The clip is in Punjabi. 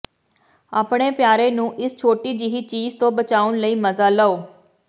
ਆਪਣੇ ਪਿਆਰੇ ਨੂੰ ਇਸ ਛੋਟੀ ਜਿਹੀ ਚੀਜ਼ ਤੋਂ ਬਚਾਉਣ ਲਈ ਮਜ਼ਾ ਲਓ